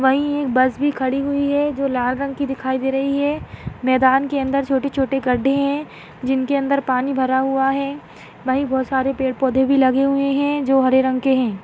वही एक बस भी खड़ी हुई हैं जो लाल रंग की दिखाई दे रही हैं मैदान के अंदर छोटे छोटे गड्ढे हैं जिनके अंदर पानी भरा हुआ है वही बहुत सारे पेड़ पौड़े भी लगे हैं जो हरे रंग के हैं।